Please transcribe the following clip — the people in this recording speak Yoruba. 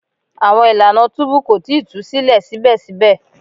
Awọn ilana tubu ko tii tu silẹ sibẹsibẹ